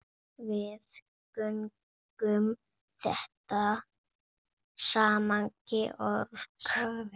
Við göngum þetta sagði Georg.